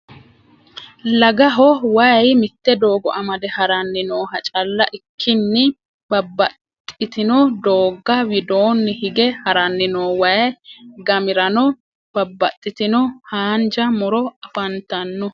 laggaho wayi mitte doogo amadde haranni nooha cala ikikinni babaxitino doogga widoonni higge haranni no wayi gamiranno babaxitinoti haanja murro afantanno.